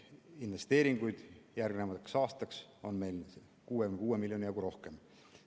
Investeeringuid on meil järgnevaks aastaks 66 miljoni jagu rohkem.